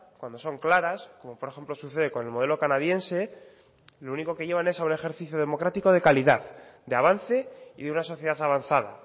cuando son claras como por ejemplo sucede con el modelo canadiense lo único que llevan es a un ejercicio democrático de calidad de avance y de una sociedad avanzada